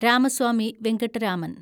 Ramaswamy Venkataraman